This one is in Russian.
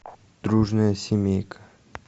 дружная семейка